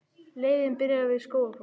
Leiðin byrjar við Skógafoss.